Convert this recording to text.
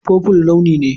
Purple launi ne.